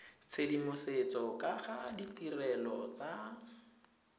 tshedimosetso ka ga ditirelo tsa